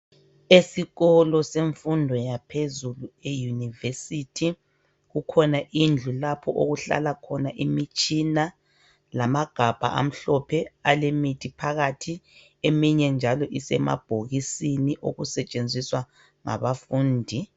Esikolo semfundo yaphezulu eYunivesi kukhona indlu lapho okuhlala khona imitshina lamagabha amhlophe alemithi phakathi, eminye njalo isemabhokisini okusetshenziswa ngabafundi.